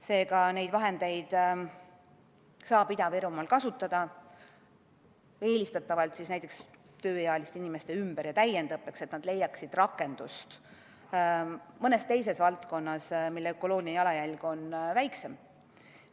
Seega neid vahendeid saab Ida-Virumaal kasutada, eelistatavalt näiteks tööealiste inimeste ümber- ja täiendõppeks, et nad leiaksid rakendust mõnes teises valdkonnas, mille ökoloogiline jalajälg on väiksem.